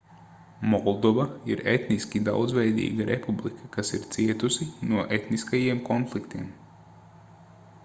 moldova ir etniski daudzveidīga republika kas ir cietusi no etniskajiem konfliktiem